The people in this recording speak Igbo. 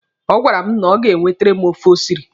Ọ gwara m na o ga-ewetere m ofe o siri.